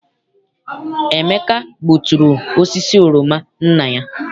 Emeka gbuturu osisi oroma nna ya.